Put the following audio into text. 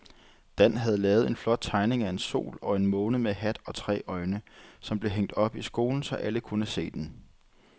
Dan havde lavet en flot tegning af en sol og en måne med hat og tre øjne, som blev hængt op i skolen, så alle kunne se den.